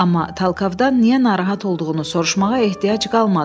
Amma Talkavdan niyə narahat olduğunu soruşmağa ehtiyac qalmadı.